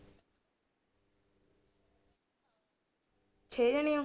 ਛੇ ਜਾਣੇ ਹੋ